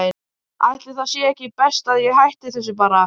Ætli það sé ekki best að ég hætti þessu bara.